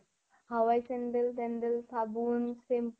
হাৱাই sandal তেন্দেল, চাবোন, shampoo